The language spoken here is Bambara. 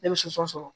Ne bɛ soso sɔrɔ